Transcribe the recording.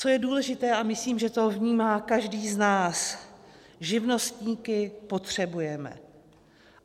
Co je důležité, a myslím, že to vnímá každý z nás, živnostníky potřebujeme.